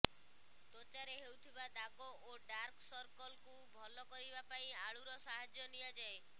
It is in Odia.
ତ୍ୱଚାରେ ହେଉଥିବା ଦାଗ ଓ ଡାର୍କ ସର୍କଲ୍କୁ ଭଲ କରିବା ପାଇଁ ଆଳୁର ସାହାଯ୍ୟ ନିଆଯାଏ